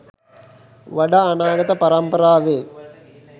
වඩා අනාගත පරම්පරාවේ